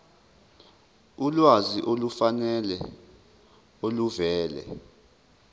ulwazi olufanele oluvela